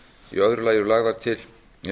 í öðru lagi eru lagðar til